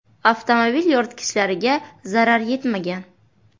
Avtomobil yoritgichlariga zarar yetmagan.